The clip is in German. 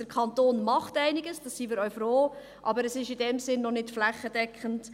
Der Kanton macht einiges, darüber sind wir auch froh, aber es ist in diesem Sinn noch nicht flächendeckend.